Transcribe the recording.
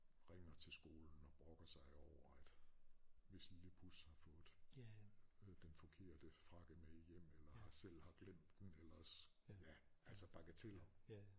Ringer til skolen og brokker sig over at hvis lille pus har fået den forkerte frakke med hjem eller selv har glemt den eller ja altså bagateller